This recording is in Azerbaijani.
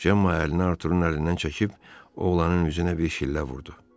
Cemma əlini Arturunun əlindən çəkib oğlanın üzünə bir şillə vurdu.